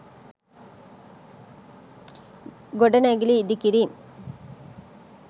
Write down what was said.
ගොඩනැගිලි ඉදි කිරීම්